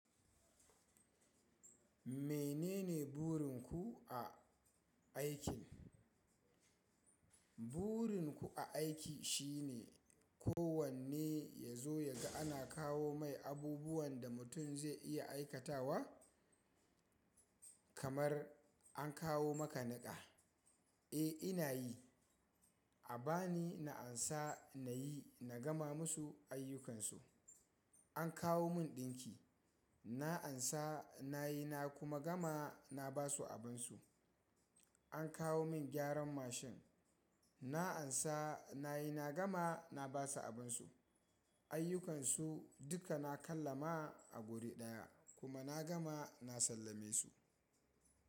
Menene burin ku a aikin? Burin ku a aiki shine kowanne ya zo ya ga ana kawo mai abubuwan da mutum zai iya aikatawa. Kamar an kawo maka niƙa, eh ina yi. A ba ni na ansa na yi na gama musu ayyukansu. An kawo mun ɗinki, na ansa na yi na kuma gama na ba su abinsu. An kawo min gyaran mashin, na ansa na yi na gama na ba su abinsu. Ayyukansu duka na kalla ma a wuri ɗaya kuma na gama na sallame su.